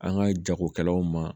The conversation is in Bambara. An ka jagokɛlaw ma